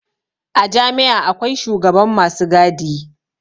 A jami'a akwai shugaban masu gadi